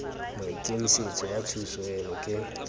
maikemisetso a thuso eno ke